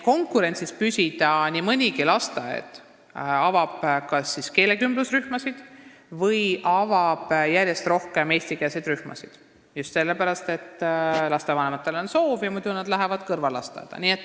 Konkurentsis püsimiseks avab nii mõnigi lasteaed kas keelekümblusrühmasid või järjest rohkem eestikeelseid rühmasid – just lapsevanemate soovi pärast, sest muidu nad läheksid kõrvallasteaeda.